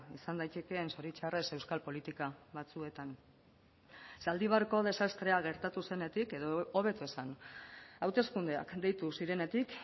izan daitekeen zoritxarrez euskal politika batzuetan zaldibarko desastrea gertatu zenetik edo hobeto esan hauteskundeak deitu zirenetik